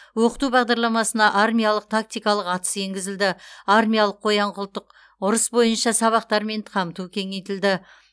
оқыту бағдарламасына армиялық тактикалық атыс енгізілді армиялық қоян қолтық ұрыс бойынша сабақтармен қамту кеңейтілді